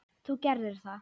Þú gerðir það.